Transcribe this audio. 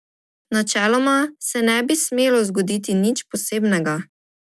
Načeloma se ne bi smelo zgoditi nič posebnega.